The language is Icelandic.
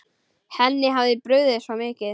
Henni hafði brugðið svo mikið.